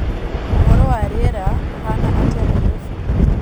ūhoro wa rīera ūhana atīa nairobi